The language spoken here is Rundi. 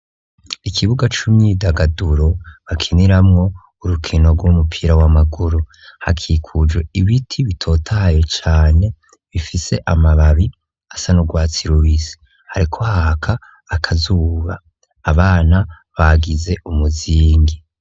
Ikibuga cimyidagaduro bakiniramwo urukino gw'umupira wamaguru hakikujwe ibiti bitotaye cane bifise amababi asa n'ugwatsi rubisi hariko haraka akazuba abana bagize umuzingi.